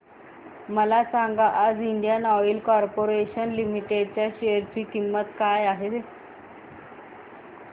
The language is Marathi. मला सांगा आज इंडियन ऑइल कॉर्पोरेशन लिमिटेड च्या शेअर ची किंमत काय आहे